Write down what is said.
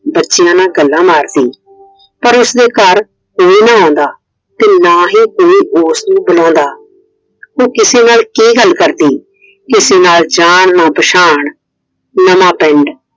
ਬੱਚਿਆਂ ਨਾਲ ਗੱਲਾਂ ਮਾਰਦੀ। ਪਰ ਉਸਦੇ ਘਰ ਕੋਈ ਨਾ ਆਉਂਦਾ। ਤੇ ਨਾ ਹੀ ਕੋਈ ਉਸਨੂੰ ਬੁਲਾਉਂਦਾ। ਉਹ ਕਿਸੇ ਨਾਲ ਕੀ ਗੱਲ ਕਰਦੀ? ਕਿਸੇ ਨਾਲ ਨਾ ਜਾਨ ਨਾ ਪਛਾਣ ਨਵਾਂ ਪਿੰਡ